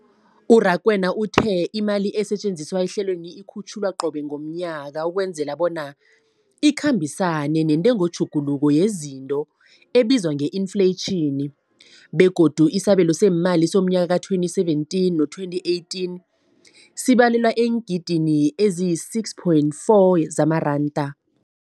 U-Rakwena uthe imali esetjenziswa ehlelweneli ikhutjhulwa qobe ngomnyaka ukwenzela bona ikhambisane nentengotjhuguluko yezinto ebizwa nge-infleyitjhini, begodu isabelo seemali somnyaka we-2017 no-2018 sibalelwa eengidigidini ezisi-6.4 zamaranda.